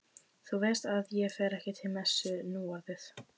Þú veist að ég fer ekki til messu núorðið.